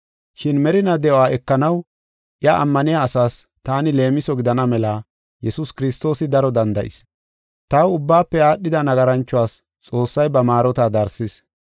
Shin merinaa de7uwa ekanaw iya ammaniya asaas taani leemiso gidana mela Yesuus Kiristoosi daro danda7is. Taw ubbaafe aadhida nagaranchuwas Xoossay ba maarota darsis.